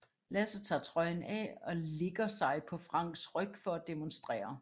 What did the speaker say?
Lasse tager trøjen af og ligger sig på Franks ryg for at demonstrere